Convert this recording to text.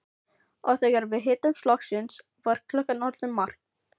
Og þegar við hittumst loksins var klukkan orðin margt.